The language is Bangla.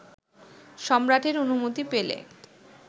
সম্রাটের অনুমতি পেলে